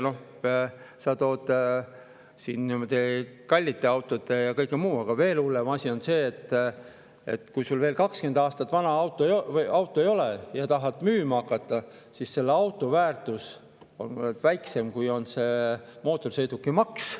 Noh, sa tõid kallite autode ja kõik muu, aga veel hullem asi on see, et kui sul auto veel 20 aastat vana ei ole ja tahad seda müüma hakata, siis selle auto väärtus on väiksem, kui on selle mootorsõidukimaks.